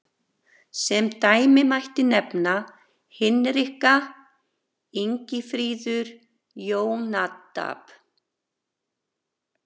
Sem dæmi mætti nefna Hinrika, Ingifríður, Jónadab.